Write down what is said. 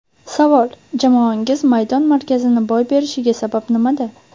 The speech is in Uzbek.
Savol: Jamoangiz maydon markazini boy berishiga sabab nimada?